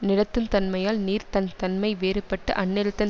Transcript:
நிலத்தின் தன்மையால் நீர் தன் தன்மை வேறுபட்டு அந்நிலத்தின்